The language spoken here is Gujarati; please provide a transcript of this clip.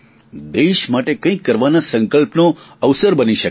દેશ માટે કંઇક કરવાના સંકલ્પનો અવસર બની શકે છે